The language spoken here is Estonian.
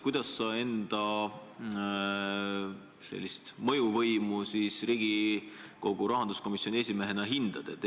Kuidas sa enda mõjuvõimu Riigikogu rahanduskomisjoni esimehena hindad?